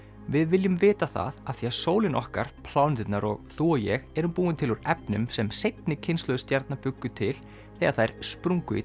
við viljum vita það af því sólin okkar pláneturnar og þú og ég erum búin til úr efnum sem seinni kynslóðir stjarna bjuggu til þegar þær sprungu í